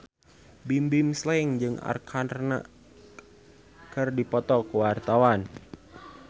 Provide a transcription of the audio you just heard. Bimbim Slank jeung Arkarna keur dipoto ku wartawan